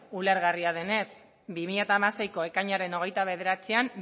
ulergarria denez bi mila hamaseiko ekainaren hogeita bederatzian